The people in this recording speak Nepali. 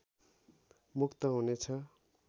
मुक्त हुनेछ